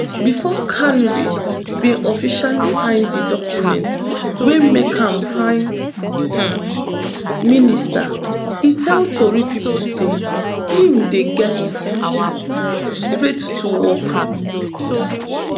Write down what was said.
bifor carney bin officially sign di documents wey make am prime um minister e tell tori pipo say im dey get um straight to work